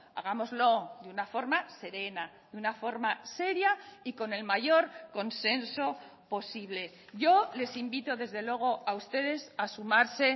hagámoslo de una forma serena de una forma seria y con el mayor consenso posible yo les invito desde luego a ustedes a sumarse